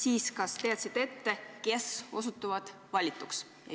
Ehk kas sa teadsid ette, kes osutuvad valituks?